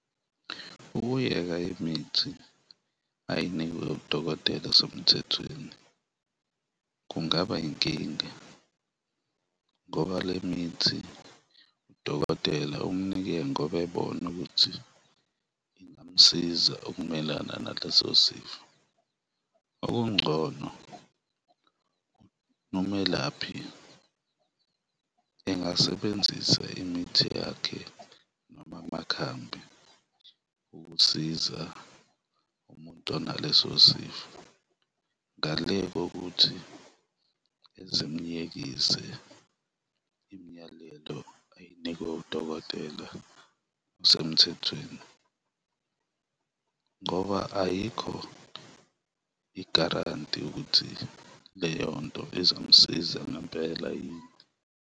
Ukuyeka imithi ayinikwe udokotela osemthethweni kungaba yinkinga ngoba le mithi udokotela umunike ngoba ebona ukuthi ingamsiza ukumelana naleso sifo. Okungcono, nomelaphi engasebenzisa imithi yakhe noma amakhambi ukusiza umuntu onaleso sifo ngale kokuthi eze emuyekise imiyalelo ayinikwe udokotela osemthethweni ngoba ayikho igaranti ukuthi leyonto izomsiza ngempela yini.